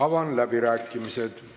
Avan läbirääkimised.